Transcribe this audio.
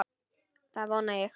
Það vona ég